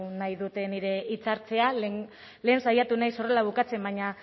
nahi dut nire hitzartzea lehen saiatu naiz horrela bukatzen baina